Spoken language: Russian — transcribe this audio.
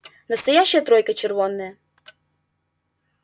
настоящая тройка червонная